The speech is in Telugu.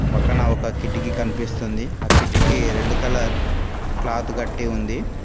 పక్కన ఒక కిటికి కనిపిస్తుంది ఆ కిటికి రెడ్ కలర్ క్లాత్ కట్టి ఉంది.